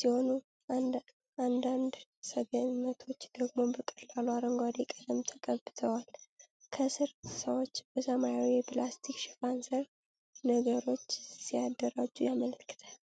ሲሆኑ፣ አንዳንድ ሰገነቶች ደግሞ በቀላል አረንጓዴ ቀለም ተቀብተዋል። ከስር ሰዎች በሰማያዊ የፕላስቲክ ሽፋን ሥር ነገሮች ሲያደራጁ ያመለክታል።